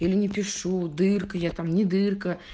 или не пишу дыркой а то мне дырка